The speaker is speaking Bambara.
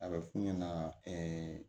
A bɛ f'u ɲɛna